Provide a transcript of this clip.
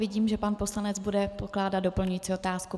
Vidím, že pan poslanec bude pokládat doplňující otázku.